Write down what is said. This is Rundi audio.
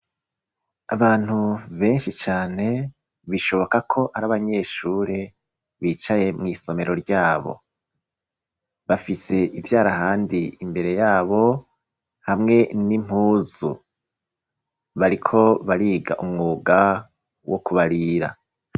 Abantu benshi cane bishoboka ko ari abanyeshuri bicaye mw'isomero ryabo bafise ivyarahandi imbere yabo hamwe n'impuzu, bariko bariga umwuga wo kubarira.